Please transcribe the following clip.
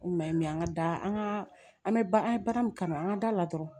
O kuma ye an ka da an ka an bɛ ba an ye baara min kanu an ka da la dɔrɔn